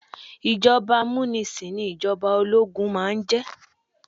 Ìjọba amúnisìn ní ìjọba ológun máà ń jẹ́.